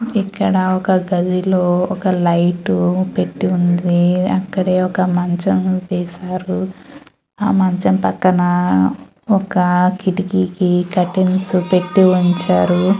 ఇక్కడ గదిలో ఒక లైట్ పెట్టి ఉంది. అక్కడే ఒక మంచం వేశారు. ఆ మంచం పక్కన కిటికీకి కర్టెన్స్ పెట్టి ఉంచారు.